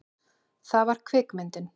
Það var kvikmyndin